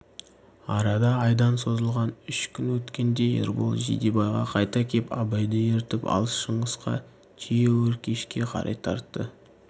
арада айдан созылған үш күн өткенде ербол жидебайға қайта кеп абайды ертіп алып шыңғысқа түйеөркешке қарай тартты